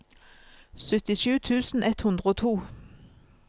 syttisju tusen ett hundre og to